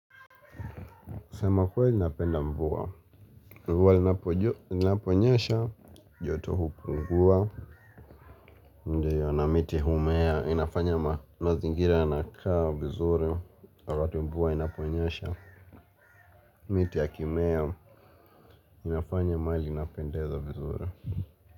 Kusema ukweli napenda mvua. Mvua li naponyesha joto hupungua. Na miti humea. Inafanya mazingira na kaa vizuri wakati mvua inaponyasha. Miti ya kimea inafanya mahali inapendeza vizuri.